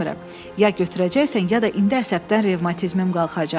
Ya götürəcəksən ya da indi əsəbdən revmatizmim qalxacaq.